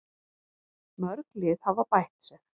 Mörg lið hafa bætt sig.